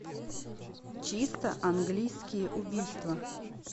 чисто английские убийства